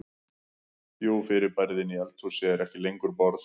Jú fyrirbærið inni í eldhúsi er ekki lengur borð.